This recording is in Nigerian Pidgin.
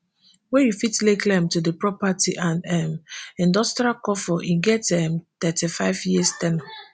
wey you fit lay claim to di property and um industrial cofo e get um thirty-five years ten ure